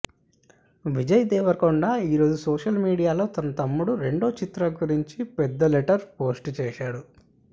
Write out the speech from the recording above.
విజయ్ దేవరకొండ ఈ రోజు సోషల్ మీడియాలో తన తమ్ముడు రెండో చిత్రం గురించి పెద్ద లెటర్ పోస్ట్ చేశాడు